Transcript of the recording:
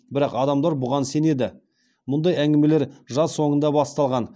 бірақ адамдар бұған сенеді мұндай әңгімелер жаз соңында басталған